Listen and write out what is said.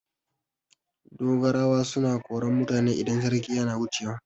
Dogarawa suna koran mutane idan sarki yana wucewa.